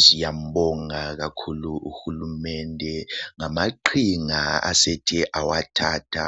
Siyambonga kakhulu UHulumende ngamaqhinga asethe awathatha